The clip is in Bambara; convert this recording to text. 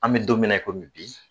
An mɛ don min na i komi bi